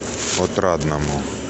отрадному